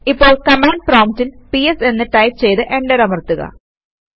ഇപ്പോൾ കമാന്ഡ് പ്രോംപ്റ്റിൽ പിഎസ് എന്ന് ടൈപ് ചെയ്ത് എന്റർ അമർത്തുക